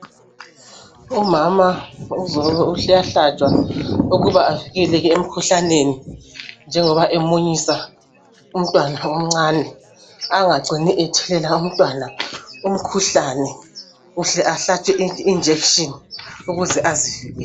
Umama uyahlatshwa ukuba avikeleke emkhuhlaneni njengoba emunyisa umntwana omncane angacini ethelela umntwana umkhuhlane, Uhle ahlatshwe ijekiseni ukuze azivikele.